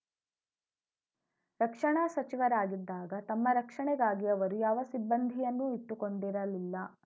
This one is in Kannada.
ರಕ್ಷಣಾ ಸಚಿವರಾಗಿದ್ದಾಗ ತಮ್ಮ ರಕ್ಷಣೆಗಾಗಿ ಅವರು ಯಾವ ಸಿಬ್ಬಂದಿಯನ್ನೂ ಇಟ್ಟುಕೊಂಡಿರಲಿಲ್ಲ